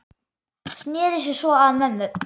Sneri sér svo að mömmu.